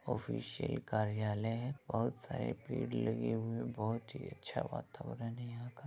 Official कार्यालय है बोहोत सारे पेड़ लगे हुए हैं बोहोत ही अच्छा वातावरण है यहाँ का।